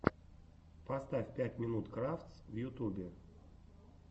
поставь пять минут крафтс в ютубе